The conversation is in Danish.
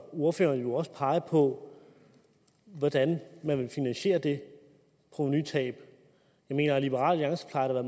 ordføreren jo også pege på hvordan man vil finansiere det provenutab jeg mener at liberal alliance plejer at